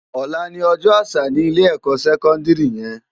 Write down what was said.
Òlá ni òjò ásà ni ilé èkò sèkòndiri yèn